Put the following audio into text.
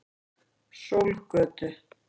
Sólgötu